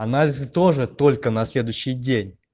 анализы тоже только на следующий день